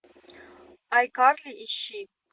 айкарли ищи